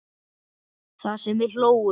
Það sem við hlógum.